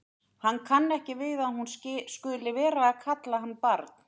Hann kann ekki við að hún skuli vera að kalla hann barn.